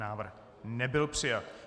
Návrh nebyl přijat.